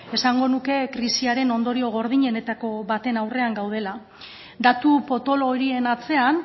esango nuke krisiaren ondorio gordinenetako baten aurrean gaudela datu potolo horien atzean